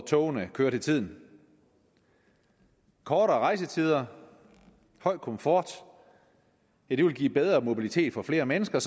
tog der kører til tiden kortere rejsetider høj komfort vil give bedre mobilitet for flere mennesker